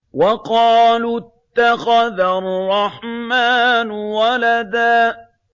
وَقَالُوا اتَّخَذَ الرَّحْمَٰنُ وَلَدًا